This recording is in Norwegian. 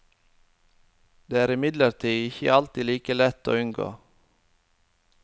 Det er imidlertid ikke alltid like lett å unngå.